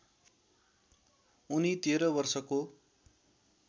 उनी १३ वर्षको